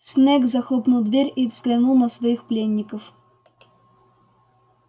снегг захлопнул дверь и взглянул на своих пленников